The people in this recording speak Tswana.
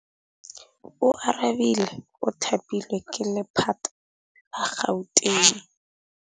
Oarabile o thapilwe ke lephata la Gauteng.